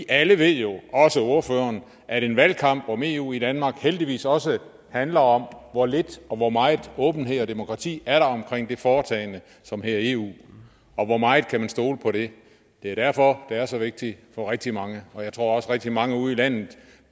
alle ved jo også ordføreren at en valgkamp om eu i danmark heldigvis også handler om hvor lidt og hvor meget åbenhed og demokrati der er omkring det foretagende som hedder eu og hvor meget man kan stole på det det er derfor det er så vigtigt for rigtig mange og jeg tror også at rigtig mange ude i landet